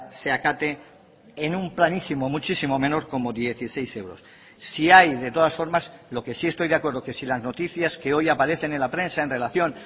se acate en un planísimo muchísimo menor como dieciséis euros sí hay de todas formas lo que sí estoy de acuerdo que si las noticias que hoy aparecen en la prensa en relación